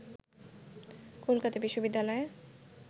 Kolkata বিশবিদ্যালয়ে